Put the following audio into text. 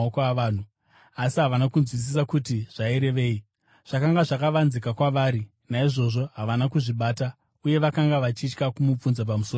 Asi havana kunzwisisa kuti zvairevei. Zvakanga zvakavanzika kwavari, naizvozvo havana kuzvibata, uye vakanga vachitya kumubvunza pamusoro pazvo.